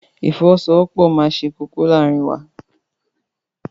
Ìfọwọ́sowọ́pọ̀ máa ṣe kókó láàárín wa.